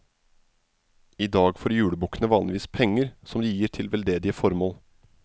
I dag får julebukkene vanligvis penger, som de gir til veldedige formål.